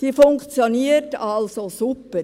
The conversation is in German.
Die funktioniert also super.